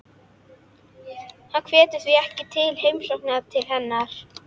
Hann hvetur því ekki til heimsókna til hennar.